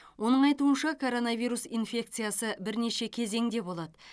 оның айтуынша коронавирус инфекциясы бірнеше кезеңде болады